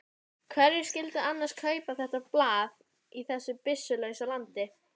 Hverjir skyldu annars kaupa þetta blað í þessu byssulausa landi?